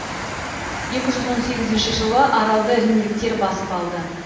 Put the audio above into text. екі жүз он сегізінші жылы аралды римдіктер басып алды